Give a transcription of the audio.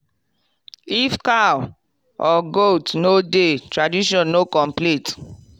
if cow or goat no dey tradition no complete.